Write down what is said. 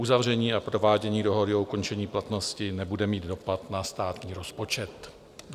Uzavření a provádění dohody o ukončení platnosti nebude mít dopad na státní rozpočet.